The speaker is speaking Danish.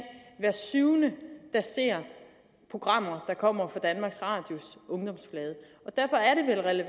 hver syvende der ser programmer der kommer fra danmarks radios ungdomsflade derfor er det